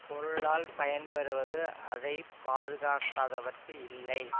பொருளால் பயன் பெறுவது அதை பாதுகாக்காதவர்க்கு இல்லை